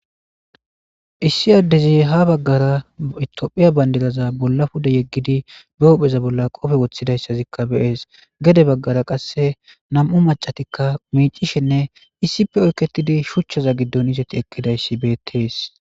issi addezi ha baggara itophiya bandidaza bolla puda yeggidi behohpheza bolla qofe woththidayssazikka beees gede baggara qasse nam7u macatikka miicishenne issippe oykketidi shuchchaza giddon izeti ekkidayssi beettees